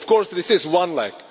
Of course, this is one leg.